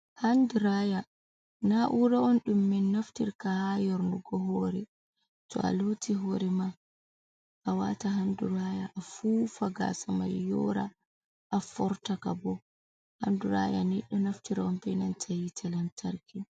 handi raya na'ura on ɗum min naftirta ha yornugo hoore to a looti hoore ma a wata handi raya a fuufa gasa mai yora a fortaka bo, handi raya ni ɗo naftire on ɓe nanta yiite lantarki.